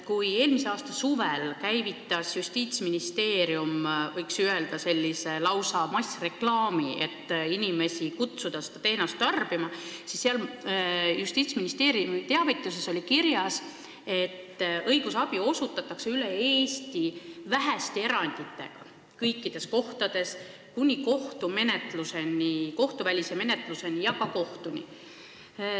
Kui eelmise aasta suvel käivitas Justiitsministeerium, võiks öelda, lausa massreklaami, et kutsuda inimesi üles seda teenust tarbima, siis ministeeriumi teavituses oli kirjas, et õigusabi osutatakse üle Eesti väheste eranditega kõikides kohtades ning seda kuni kohtuvälise menetluseni ja ka kohtuni.